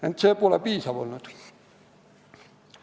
Ent sellest pole piisanud.